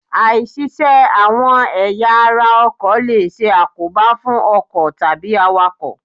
Áì-ṣiṣẹ́ àwọn ẹ̀ya ara ọkọ̀ lè ṣe àkóbá fún ọkọ̀ tàbí àwàkọ̀.